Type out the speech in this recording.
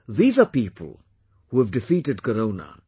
These are people who have defeated corona